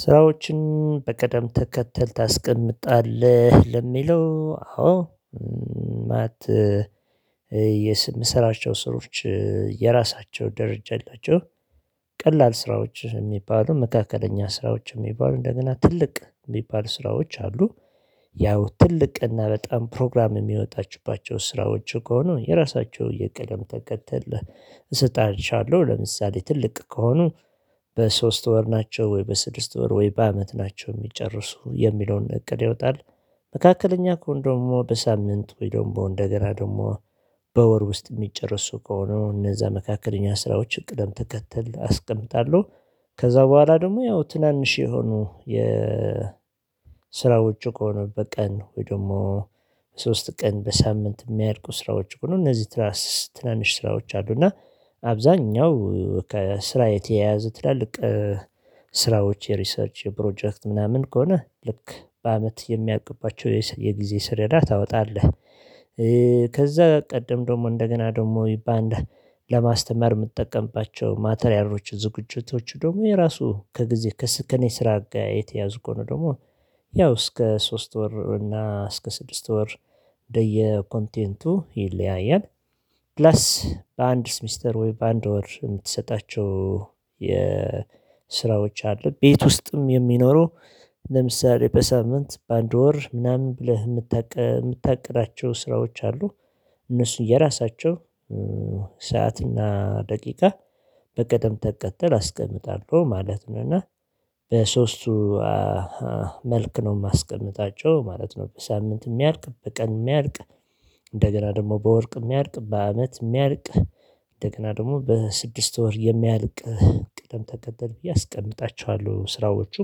ስራዎችን በቅደም ተከተል ታስቀምጣለህ ለሚለው አዎ ማለት የምሰራቸው ስራዎች የራሳቸው ደረጃ አላቸው። ቀላል ስራዎች የሚባሉ መካከለኛ ስራዎች የሚባሉ እንደገና ትልቅ የሚባል ስራዎች አሉ። ያው ትልቅና በጣም ፕሮግራም የሚወጣችባቸው ስራዎች ከሆኑ የራሳቸው የቅደም ተከተል እሰጣቸዋለሁ ለምሳሌ ትልቅ ከሆኑ በሶስት ወር ናቸው ወይ በስድስት ወር ወይ በአመት ናቸው የሚጨርሱ የሚለውን እቅድ ይወጣል። መካከለኛ ከሆኑ ደግሞ በሳምንት ወይ ደግሞ እንደገና ደግሞ በወር ውስጥ የሚጨርሱ ከሆነ እነዛ መካከለኛ ስራዎች ቅደም ተከተል አስቀምጣለሁ። ከዛ በኋላ ደግሞ ያው ትናንሽ የሆኑ የ ስራ ውጪ ከሆነ በቀን ወይ ደግሞ ሶስት ቀን በሳምንት የሚያልቁ ስራዎች ሆኖ እነዚህ ትናንሽ ስራዎች አሉ። እና አብዛኛው ከስራ የተያያዘ ትላልቅ ስራዎች የሪሰርች ፕሮጀክት ምናምን ከሆነ ልክ በአመት የሚያልቅባቸው የጊዜ ሰሌዳ ታወጣለህ። ከዛ ቀደም ደግሞ እንደገና ደግሞ ለማስተማር የምጠቀምባቸው ማተሪያሎች ዝግጅቶች ደግሞ የራሱ ከጊዜ ከስኔ ስራ ጋር የተያያዙ ከሆነ ደግሞ ያው እስከ ሶስት ወር እና እስከ ስድስት ወር እንደየ ኮንቴንቱ ይለያያል። ፕላስ በአንድ ሚስተር ወይ በአንድ ወር የምትሰጣቸው የስራዎች አሉ ቤት ውስጥም የሚኖሩ ለምሳሌ በሳምንት በአንድ ወር ምናምን ብለህ የምታቅዳቸው ስራዎች አሉ። እነሱ የራሳቸው ሰዓትና ደቂቃ በቀደም ተከተል አስቀምጣለሁ ማለት ነው። እና በሶስቱ መልክ ነው የማስቀምጣቸው ማለት ነው። በሳምንት የሚያልቅ በቀን የሚያልቅ እንደገና ደግሞ በወር የሚያልቅ በአመት የሚያልቅ እንደገና ደግሞ በስድስት ወር የሚያልቅ ቅደም ተከተል ብየ አስቀምጣቸዋለው ስራዎቹ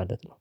ማለት ነው